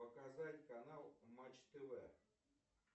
показать канал матч тв